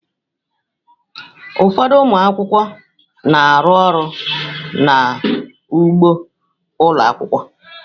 Ụfọdụ ụmụ akwụkwọ na-arụ ọrụ n'ugbo ụlọ akwụkwọ.